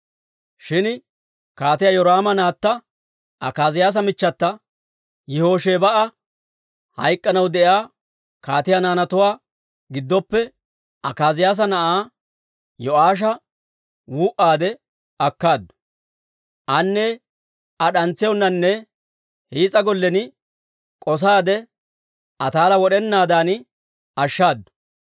Shin Kaatiyaa Yoraama naatta, Akaaziyaasa michchata Yihoshebaa'a, hayk'k'anaw de'iyaa kaatiyaa naanatuwaa giddoppe Akaaziyaasa na'aa Yo'aasha wuu'aade akkaaddu. Aane Aa d'antsiyaanonne hiis'a gollen k'osaade, Ataala wod'enaadan ashshaadu.